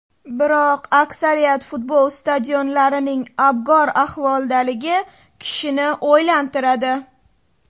Biroq, aksariyat futbol stadionlarining abgor ahvoldaligi kishini o‘ylantiradi.